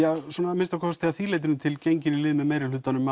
að minnsta kosti að því leytinu til genginn í lið með meirihlutanum